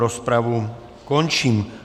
Rozpravu končím.